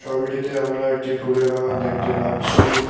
ছবিটিতে আমরা একটি ফুলের বাগান দেখতে পাচ্ছি-ই।